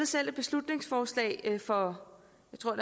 selv et beslutningsforslag for